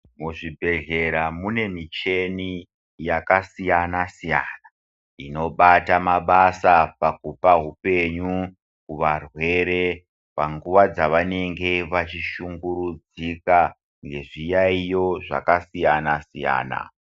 Muzvi bhedhlera mune micheni yaka siyana siyana inobata mabasa pakupa hupenyu kuva rwere panguva dzavanenge vachi shungurudzika ngezvi yayiyo zvaka siyana siyana.